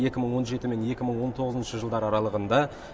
екі мың он жеті мен екі мың он тоғызыншы жылдар аралығында